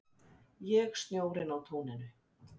Ég snjórinn á túninu